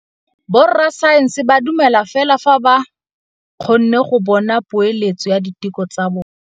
Borra saense ba dumela fela fa ba kgonne go bona poeletsô ya diteko tsa bone.